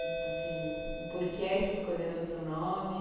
O porquê que escolheram o seu nome?